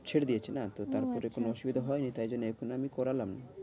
ছেড়ে দিয়েছে না তো ওহ আচ্ছা আচ্ছা তারপরে কোনো অসুবিধা হয় নি তাই জন্য এখন আমি করলাম